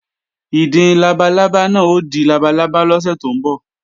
Ìdin labalábá náà ó di labalábá lọ́sẹ̀ tó ń bọ̀